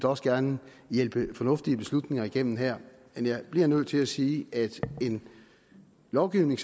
også gerne hjælpe fornuftige beslutninger igennem her men jeg bliver nødt til sige at en lovgivning